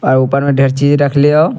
आय ऊपर में ढेर चीज रखले हौ।